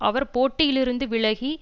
அவர் போட்டியிலிருந்து விலகி